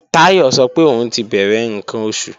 Táyọ̀ sọ pé òun ò tí bẹ̀rẹ̀ ǹkan oṣù